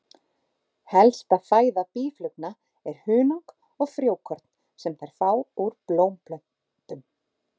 Helsta fæða býflugna er hunang og frjókorn sem þær fá úr blómplöntum.